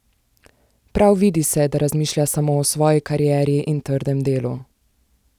Prav vidi se, da razmišlja samo o svoji karieri in trdem delu.